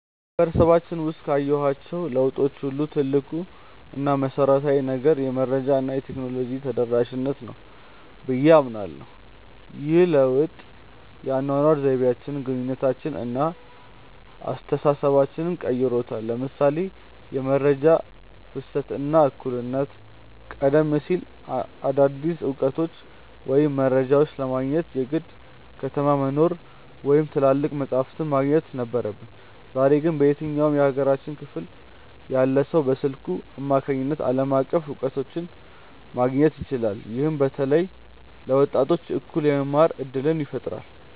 በማህበረሰባችን ውስጥ ካየኋቸው ለውጦች ሁሉ ትልቁ እና መሰረታዊው ነገር "የመረጃ እና የቴክኖሎጂ ተደራሽነት" ነው ብዬ አምናለሁ። ይህ ለውጥ የአኗኗር ዘይቤያችንን፣ ግንኙነታችንን እና አስተሳሰባችንን ቀይሮታል ለምሳሌ የመረጃ ፍሰት እና እኩልነት ቀደም ሲል አዳዲስ እውቀቶችን ወይም መረጃዎችን ለማግኘት የግድ ከተማ መኖር ወይም ትላልቅ መጻሕፍት ማግኘት ነበረብን። ዛሬ ግን በየትኛውም የሀገሪቱ ክፍል ያለ ሰው በስልኩ አማካኝነት ዓለም አቀፍ እውቀቶችን ማግኘት ይችላል። ይህም በተለይ ለወጣቶች እኩል የመማር እድልን ፈጥሯል።